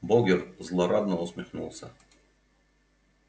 богерт злорадно усмехнулся